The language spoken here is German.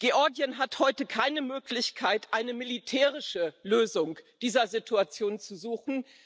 Georgien hat heute keine Möglichkeit, eine militärische Lösung dieser Situation zu suchen.